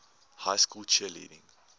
high school cheerleading